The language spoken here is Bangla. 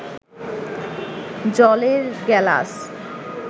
জলের গেলাস